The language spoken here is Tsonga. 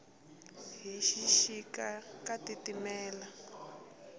hi xixika ka titimela